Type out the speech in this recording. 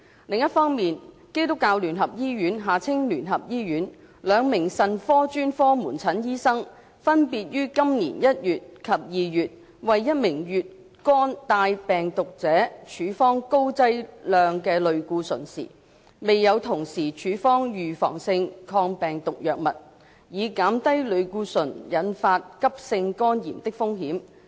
另一方面，基督教聯合醫院兩名腎科專科門診醫生分別於今年1月及2月為一名乙肝帶病毒者處方高劑量類固醇時，未有同時處方預防性抗病毒藥物，以減低類固醇引發急性肝炎的風險。